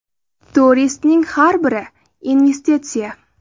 Turistning har biri investitsiya.